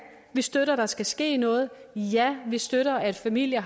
vi støtter at der skal ske noget ja vi støtter at familier